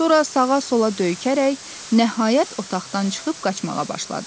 Sonra sağa-sola döyünərək nəhayət otaqdan çıxıb qaçmağa başladı.